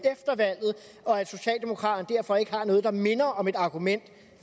valget og at socialdemokraterne derfor ikke har noget der minder om et argument